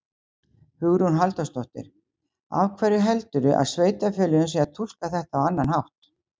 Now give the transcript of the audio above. Hugrún Halldórsdóttir: Af hverju heldurðu að sveitarfélögin séu að túlka þetta á annan hátt?